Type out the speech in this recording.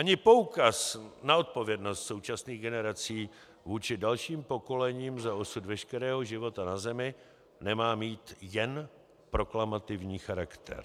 Ani poukaz na odpovědnost současných generací vůči dalším pokolením za osud veškerého života na Zemi nemá mít jen proklamativní charakter.